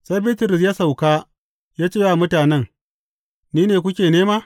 Sai Bitrus ya sauka ya ce wa mutanen, Ni ne kuke nema.